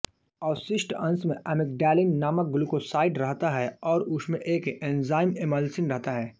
अवशिष्ट अंश में एमिग्डैलिन नामक ग्लूकोसाइड रहता है और उसमें एक एंज़ाइम इमल्सिन रहता है